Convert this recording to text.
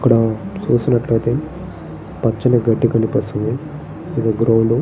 ఇక్కడా చూసినట్టయితే పచ్చని గడ్డి కనిపిస్తుంది. ఇదొక గ్రౌండ్ --